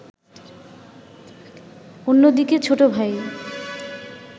অন্যদিকে ছোটভাই